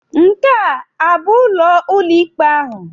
Nke a abụ ụlọ ụlọikpe ahụ?